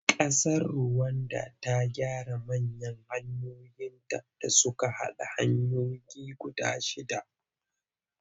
Ƙasar Ruwanda ta gyara manya hanyoyinta da suka haɗa hanyoyinta guda shidda.